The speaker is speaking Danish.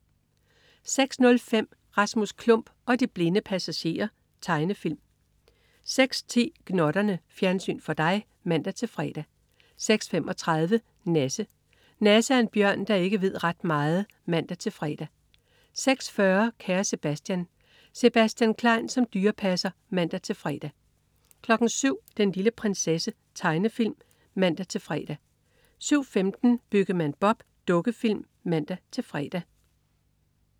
06.05 Rasmus Klump og de blinde passagerer. Tegnefilm 06.10 Gnotterne. Fjernsyn for dig (man-fre) 06.35 Nasse. Nasse er en bjørn, der ikke ved ret meget (man-fre) 06.40 Kære Sebastian. Sebastian Klein som dyrepasser (man-fre) 07.00 Den lille prinsesse. Tegnefilm (man-fre) 07.15 Byggemand Bob. Dukkefilm (man-fre)